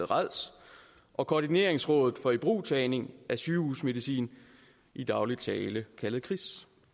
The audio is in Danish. rads og koordineringsrådet for ibrugtagning af sygehusmedicin i daglig tale kaldet kris